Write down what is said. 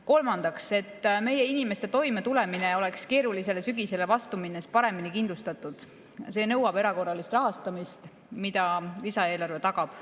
Kolmandaks, et meie inimeste toimetulek oleks keerulisele sügisele vastu minnes paremini kindlustatud – see nõuab erakorralist rahastamist, mida lisaeelarve tagab.